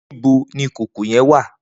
Nibó ni ikókó yèn wá?